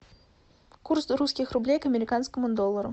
курс русских рублей к американскому доллару